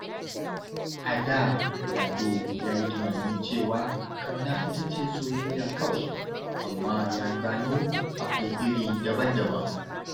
A da, Lado ya yi tunanin cewa ƙauna ita ce soyayya kawai, amma ya gano akwai iri daban-daban.